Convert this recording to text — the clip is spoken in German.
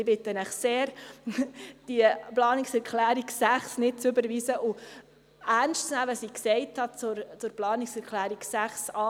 Ich bitte Sie sehr, die Planungserklärung 6 nicht zu überweisen und das ernst zu nehmen, was ich zur Planungserklärung 6a gesagt habe: